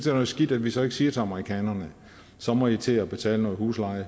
er noget skidt at vi så ikke siger til amerikanerne så må i til at betale noget husleje